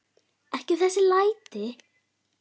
Ekki þessi læti.